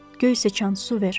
Göy sıçan, su ver!